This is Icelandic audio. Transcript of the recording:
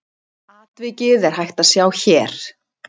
Atvikið er hægt að sjá hér.